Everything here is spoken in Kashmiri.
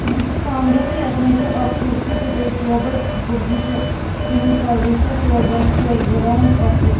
یہِ چُھ کمرتہٕ یتھ مچٕھنٛز چھ اکھ کُرسی تہٕ بیٚیہِ ٹیبل کُرسی چٕھ کرٛہنہِ کلرٕچ تہٕ ٹیبلس چٕھ زٕ رنٛگ اکھ